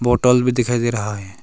Hotel भी दिखाई दे रहा है।